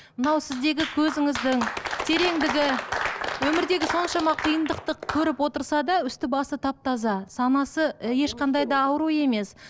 мынау сіздегі көзіңіздің тереңдігі өмірдегі соншама қиындықты көріп отырса да үсті басы тап таза санасы ешқандай да ауру емес